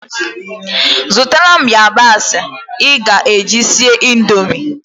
Zụtara m yabasị ị ga-eji sie Indomie